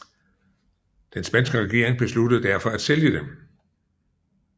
Den spanske regering besluttede derfor at sælge dem